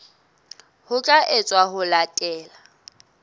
ho tla etswa ho latela